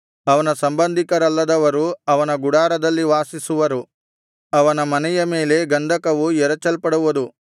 ಅವನ ಸಂಬಂಧಿಕರಲ್ಲದವರು ಅವನ ಗುಡಾರದಲ್ಲಿ ವಾಸಿಸುವರು ಅವನ ಮನೆಯ ಮೇಲೆ ಗಂಧಕವು ಎರಚಲ್ಪಡುವುದು